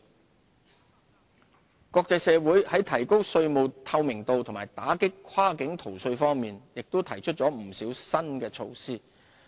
稅務合作國際社會在提高稅務透明度及打擊跨境逃稅方面亦提出了不少新措施。